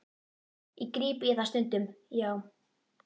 Ég gríp í það stundum, já.